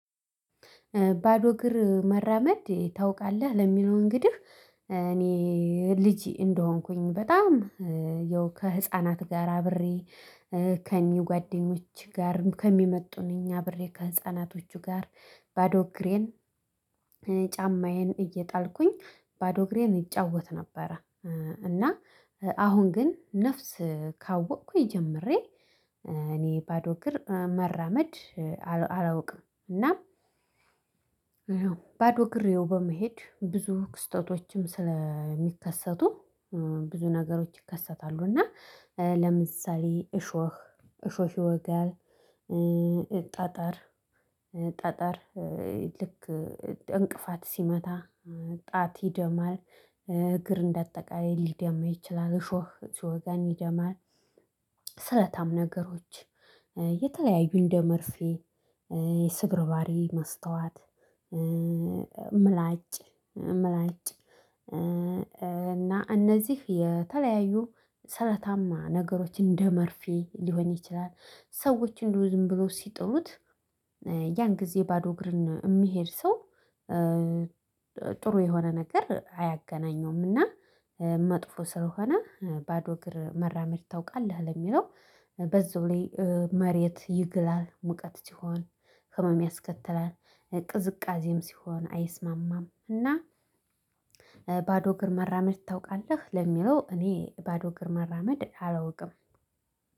ባዶ እግር መራመድ ታውቃለህ ለሚለው እንግዲህ። እኔ ልጅ እንደሆንኩኝ በጣም ያው ከህፃናት ጋር አብሬ ከኒው ጓደኞች ጋርም ከሚመጡን እኛ አብሬ ከህፃናቶቹ ጋር። ባዶ እግሬን ጫማዬን እየጣልኩኝ ባዶ እግሬን እጫወት ነበረ። እና አሁን ግን ነፍስ ካወቅኩኝ ጀምሬ እኔ ባዶ እግር መራመድ አላውቅም እና። ባዶ እግር በመሄድ ብዙ ክስተቶችም ስለሚከሰቱ ብዙ ነገሮች ይከሰታሉ። እና ለምሳሌ እሾህ እሾህ ይወጋል። ጣጣር ጣጣር ልክ እንቅፋት ሲመታ ጣት ይደማል። እግር እንደ አጠቃላይ ሊደማ ይችላል እሾህ እሾህ ሲወጋ ይደማል። ስለታም ነገሮች የተለያዩ እንደመርፌ የስብርባሪ መስታዋት መስታወት ምላጭ ምላጭ እና እነዚህ የተለያዩ ሰለታማ ነገሮችን እንደመርፌ ሊሆን ይችላል። ሰዎችን ዝም ብሎ ሲጥሉት ያን ጊዜ ባዶ እግርን የሚሄድ ሰው ጥሩ የሆነ ነገር አያገናኘውምና። መጥፎ ስለሆነ ባዶ እግር መራመድ ታውቃለህ ለሚለው። በዛ ላይ መሬት ይግላል ሙቀት ሲሆን ህመም ያስከትላል። ቅዝቃዜም ሲሆን አይስማማም። እና ባዶ እግር መራመድ ታውቃለህ ለሚለው እኔ ባዶ እግር መራመድ አላውቅም።